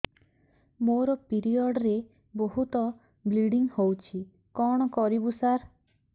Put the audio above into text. ମୋର ପିରିଅଡ଼ ରେ ବହୁତ ବ୍ଲିଡ଼ିଙ୍ଗ ହଉଚି କଣ କରିବୁ ସାର